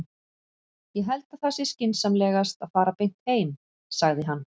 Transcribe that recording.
Ég held að það sé skynsamlegast að fara beint heim, sagði hann.